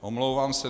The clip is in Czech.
Omlouvám se.